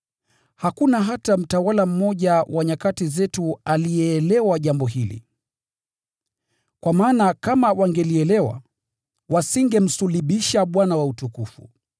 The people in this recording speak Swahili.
Hakuna hata mtawala mmoja wa nyakati hizi aliyeelewa jambo hili. Kwa maana kama wangelielewa, wasingemsulubisha Bwana wa utukufu.